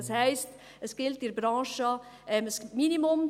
Das heisst: In der Branche gilt ein Minimum.